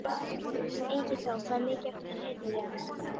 Ingiþór, hvað er mikið eftir af niðurteljaranum?